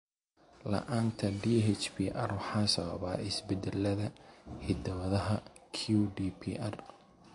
La'aanta DHPR waxaa sababa isbeddellada hidda-wadaha QDPR.